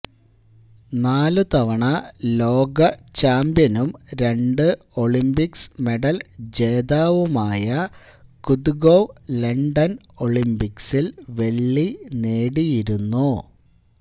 നാലു തവണ ലോകചാമ്പ്യനും രണ്ടു ഒളിമ്പിക്സ് മെഡല്ജേതാവുമായ കുദുഗോവ് ലണ്ടന് ഒളിമ്പിക്സില് വെള്ളി നേടിയിരുന്നു